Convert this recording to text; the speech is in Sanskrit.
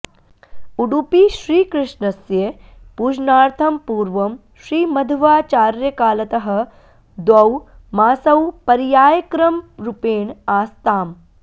उडुपीश्रीकृष्णस्य पूजनार्थं पूर्वं श्रीमध्वाचार्यकालतः द्वौ मासौ पर्यायक्रमरूपेण आस्ताम्